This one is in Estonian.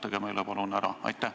Seletage meile palun ära!